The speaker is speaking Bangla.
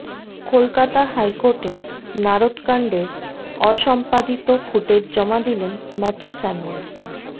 কলকাতা হাইকোর্টে নারদকাণ্ডের অসম্পাদিত ফুটেজ জমা দিলেন ম্যাথু স্যামুয়েল